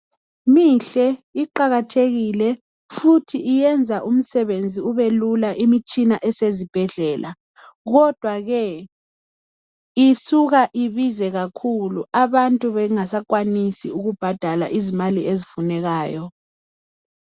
Mihle iqakathekile futhi iyenza umsebenzi ubelula imitshina esezibhedlela, kodwa ke isuka ibize kakhulu abantu bengasakwanisi ukubhadala izimali ezifunekayo.